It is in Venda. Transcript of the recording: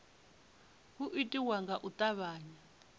u itiwa nga u tavhanya